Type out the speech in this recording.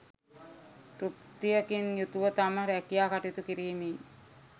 තෘප්තියකින් යුතුව තම රැකියා කටයුතු කිරීමේ